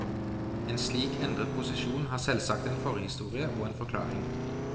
En slik endret posisjon har selvsagt en forhistorie og en forklaring.